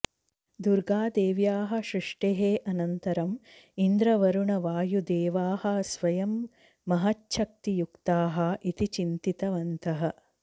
दुर्गादेव्याः सृष्टेः अनन्तरम् इन्द्रवरुणवायुदेवाः स्वयं महच्छक्तियुक्ताः इति चिन्तितवन्तः